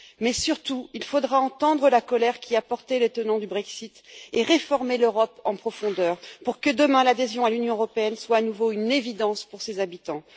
Mais, surtout, il faudra entendre la colère qui a porté les tenants du Brexit et réformer l'Europe en profondeur pour que demain, l'adhésion à l'Union européenne soit à nouveau une évidence pour ses habitants.